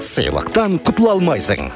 сыйлықтан құтыла алмайсың